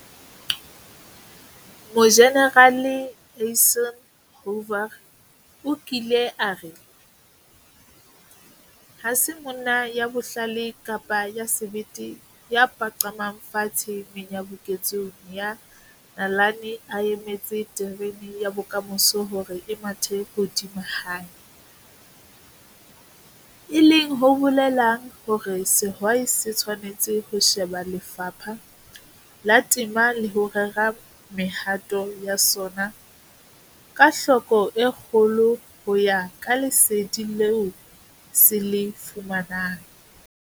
Mojenerale Eisenhower o kile a re, 'Ha se monna ya bohlale kapa ya sebete ya paqamang fatshe menyabuketsong ya nalane a emetse terene ya bokamoso hore e mathe hodima hae', e leng ho bolelang hore sehwai se tshwanetse ho sheba lefapha la temo le ho rera mehato ya sona ka hloko e kgolo ho ya ka lesedi leo se le fumanang.